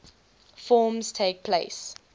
forms takes place